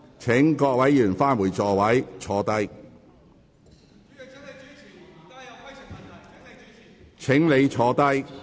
請各位議員返回座位。